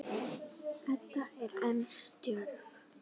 Edda er enn stjörf.